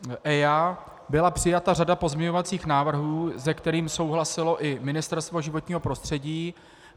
Byla přijata řada pozměňovacích návrhů, se kterými souhlasilo i Ministerstvo životního prostředí.